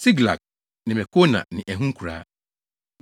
Siklag ne Mekona ne ɛho nkuraa.